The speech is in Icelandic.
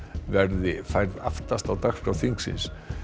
verði færð aftast á dagskrá þingsins